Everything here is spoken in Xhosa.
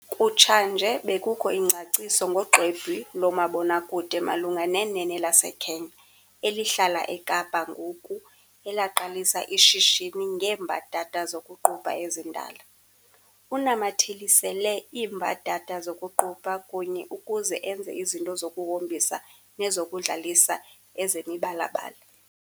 Kutshanje bekukho ingcaciso ngoxwebhu lomabonakude malunga nenene laseKenya, elihlala eKapa ngoku, elaqalisa ishishini ngeembadada zokuqubha ezindala. Unamathelisele iimbadada zokuqubha kunye ukuze enze izinto zokuhombisa nezokudlalisa ezimibala-bala.